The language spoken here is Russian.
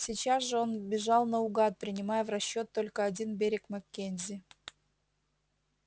сейчас же он бежал наугад принимая в расчёт только один берег маккензи